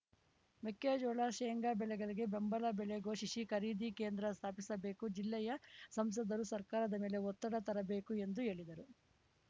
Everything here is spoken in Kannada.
ಮೆಕ್ಕೆಜೋಳ ಶೆಂಗಾ ಬೆಳೆಗಳಿಗೆ ಬೆಂಬಲ ಬೆಲೆ ಘೋಷಿಸಿ ಖರೀದಿ ಕೇಂದ್ರ ಸ್ಥಾಪಿಸಬೇಕು ಜಿಲ್ಲೆಯ ಸಂಸದರೂ ಸರ್ಕಾರದ ಮೇಲೆ ಒತ್ತಡ ತರಬೇಕು ಎಂದು ಹೇಳಿದರು